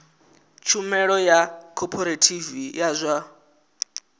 tshumelo ya khophorethivi ya zwa